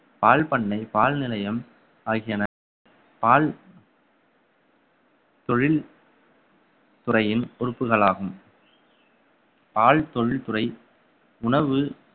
பால் பண்ணை பால் நிலையம் ஆகியன பால் தொழில் துறையின் உறுப்புகளாகும் ஆழ்தொழில்துறை உணவு